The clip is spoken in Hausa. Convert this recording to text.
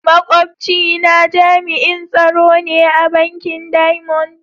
Makwabci na jami'in tsaro ne a bankin "diamond".